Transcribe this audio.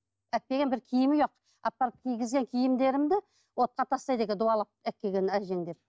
әперген бір киімі жоқ апарып кигізген киімдерімді отқа тастайды екен дуалап алып келген әжең деп